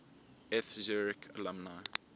eth zurich alumni